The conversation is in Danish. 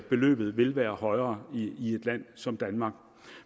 beløbet vil være højere i et land som danmark